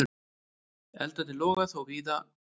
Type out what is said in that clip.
Eldarnir loga þó víða ennþá.